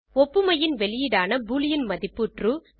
ஒப்புமையின் வெளியீடான பூலியன் மதிப்பு ட்ரூ